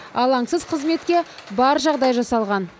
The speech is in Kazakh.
алаңсыз қызметке бар жағдай жасалған